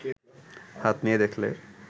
হাত নিয়ে দেখলে